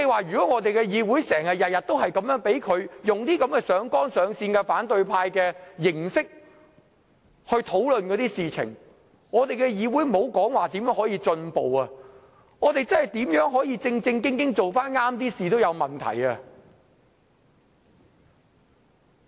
如果議會每天也出現他這種上綱上線，以反對派的形式討論事情，莫說議會如何進步，即使議會想正正經經重回正軌，也會有問題。